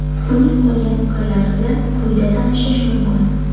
Uning qolgan fikrlari bilan quyida tanishish mumkin.